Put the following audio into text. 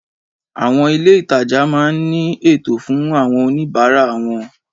Àwon ilé ìtajà máa ní ètò fun àwon oníbáárà won